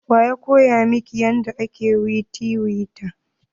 Wa ya koya miki yadda ake tiwita?